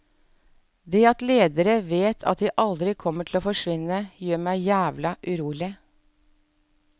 Det at ledere vet at de aldri kommer til å forsvinne, gjør meg jævla urolig.